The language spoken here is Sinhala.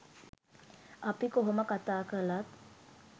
අපි කොහොම කතා කළත්